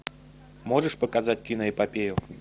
можешь показать киноэпопею